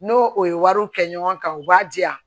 N'o o ye wariw kɛ ɲɔgɔn kan u b'a diyan